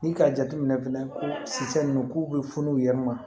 Ni k'a jateminɛ fɛnɛ ko siyɛ nunnu k'u be funu u yɛrɛ ma